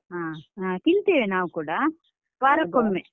ಹ ತಿಂತೇವೆ ನಾವು ಕೂಡಾ ವಾರಕ್ಕೊಮ್ಮೆ.